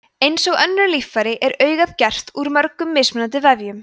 eins og önnur líffæri er augað gert úr mörgum mismunandi vefjum